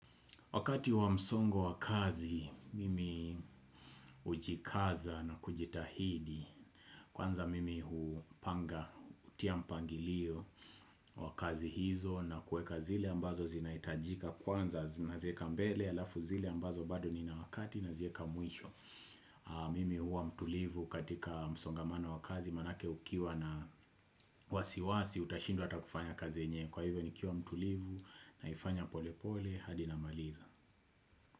Wakati wa msongo wa kazi, mimi hujikaza na kujitahidi, kwanza mimi hupanga, hutia mpangilio wa kazi hizo na kuweka zile ambazo zinahitajika, kwanza naziweka mbele, halafu zile ambazo bado nina wakati nazieka mwisho. Mimi huwa mtulivu katika msongamano wa kazi, maanake ukiwa na wasiwasi, utashindwa hata kufanya kazi yenyewe. Kwa hivyo nikiwa mtulivu naifanya pole pole, hadi namaliza.